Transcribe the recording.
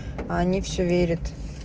а они всё верят